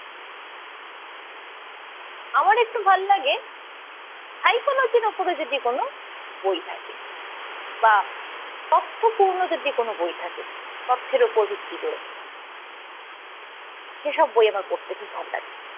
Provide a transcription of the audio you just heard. আমার একটু ভাল্লাগে সাইকোলজির উপর যদি কোন বই থাকে বা অর্থপূর্ণ যদি কোন বই থাকে। তথ্যের উপর ভিত্তি করে সেসব বই আমার পড়তে খুব ভাল লাগে।